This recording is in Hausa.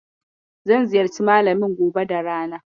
Zan ziyarci Malamin gobe da rana.